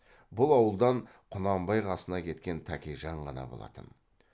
бұл ауылдан құнанбай қасына кеткен тәкежан ғана болатын